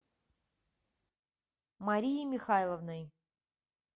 марией михайловной